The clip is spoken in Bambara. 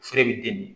Feere bɛ den min